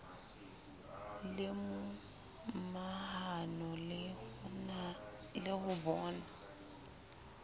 le momahano le ho bona